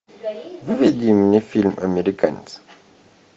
выведи мне фильм американец